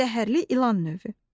Zəhərli ilan növü.